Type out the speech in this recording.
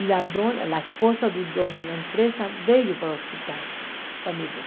E a dona a esposa do dono da empresa veio para o hospital para me ver.